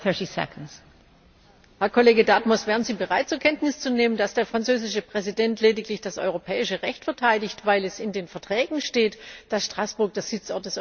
Herr Kollege Dartmouth! Wären Sie bereit, zur Kenntnis zu nehmen, dass der französische Präsident lediglich das europäische Recht verteidigt, weil es in den Verträgen steht, dass Straßburg der Sitzort des Europäischen Parlaments ist?